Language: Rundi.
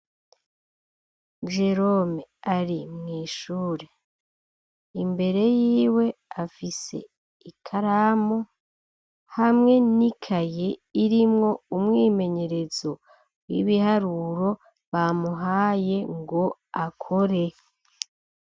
Jerome ari mwishure, imbere yiwe afise ikaramu hamwe n'ikaye irimwo umwimenyerezo w'ibiharuro bamuhaye ngo akore.